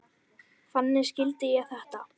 Þannig skildi ég þetta.